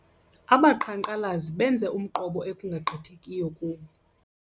Abaqhankqalazi benze umqobo ekungagqithekiyo kuwo.